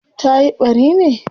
tayi ɓari ne?